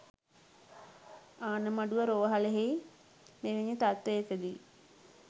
ආණමඩුව රෝහලෙහි මෙවැනි තත්ත්වයකදී